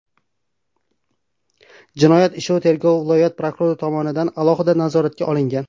Jinoyat ishi tergovi viloyat prokurori tomonidan alohida nazoratga olingan.